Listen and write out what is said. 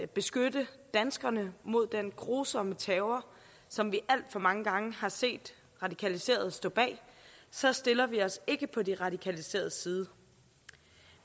beskytte danskerne mod den grusomme terror som vi alt for mange gange har set radikaliserede stå bag så stiller vi os ikke på de radikaliseredes side